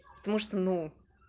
потому что ну